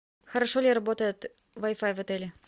хорошо ли работает вай фай в отеле